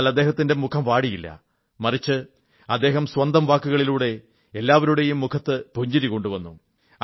എന്നാൽ അദ്ദേഹത്തിന്റെ മുഖം വാടിയില്ല മറിച്ച് അദ്ദേഹം സ്വന്തം വാക്കുകളിലൂടെ എല്ലാവരുടെയും മുഖത്ത് പുഞ്ചിരി കൊണ്ടുവന്നു